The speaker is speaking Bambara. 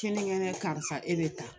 Ke karisa e bɛ ta